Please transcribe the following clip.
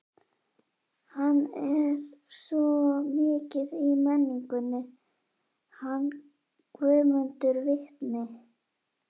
Hann er svo mikið í menningunni, hann Guðmundur vitni.